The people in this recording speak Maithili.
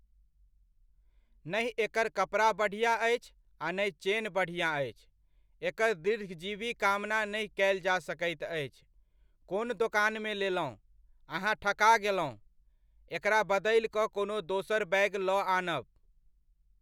ना एकर कपड़ा बढ़िआँ अछि आ नहि चेन बढ़िआँ अछि, एकर दीर्घजीवी कामना नहि कयल जा सकैत अछि। कोन दोकानमे लेलहुँ? अहाँ ठका गेलहुँ। एकरा बदलि कऽ कोनो दोसर बैग लऽ आनब।